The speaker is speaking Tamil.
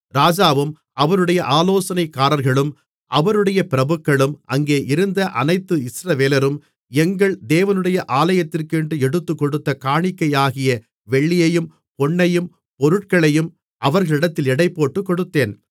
ராஜாவும் அவருடைய ஆலோசனைக்காரர்களும் அவருடைய பிரபுக்களும் அங்கேயிருந்த அனைத்து இஸ்ரவேலரும் எங்கள் தேவனுடைய ஆலயத்துக்கென்று எடுத்துக்கொடுத்த காணிக்கையாகிய வெள்ளியையும் பொன்னையும் பொருட்களையும் அவர்களிடத்தில் எடைபோட்டுக் கொடுத்தேன்